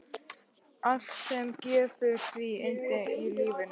Allt sem gefur því yndi í lífinu.